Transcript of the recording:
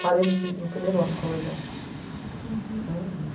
Parei no primeiro ano, no colegial. Uhum